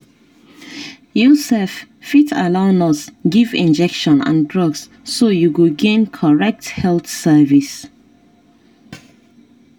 you sef fit allow nurse give injection and drugs so you go gain correct health service.